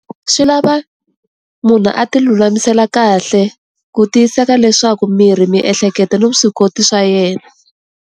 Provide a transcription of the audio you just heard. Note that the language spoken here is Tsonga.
Swi lava munhu a ti lulamisela kahle ku tiyiseka leswaku miri miehleketo na vuswikoti swa yena.